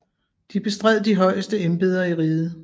De bestred de højeste embeder i riget